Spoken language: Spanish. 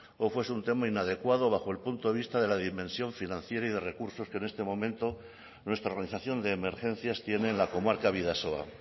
o fuese un tema inadecuado bajo el punto de vista de la dimensión financiera y de recursos que en este momento nuestra organización de emergencias tiene en la comarca bidasoa